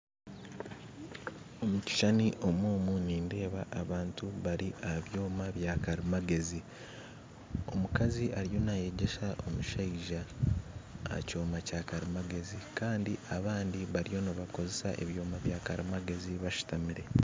Omu kishushani omu omu nindeeba abantu bari aha byoma bya kari magezi. Omukazi ariyo nayegesa omushaija aha kyoma kya karimagezi kandi abandi bariyo nibakozesa ebyoma bya karimagezi bashutamire